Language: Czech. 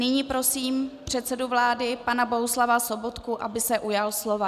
Nyní prosím předsedu vlády pana Bohuslava Sobotku, aby se ujal slova.